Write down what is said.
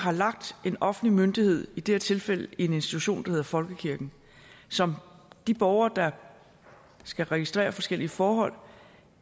en offentlig myndighed i det her tilfælde en institution der hedder folkekirken som de borgere der skal registrere forskellige forhold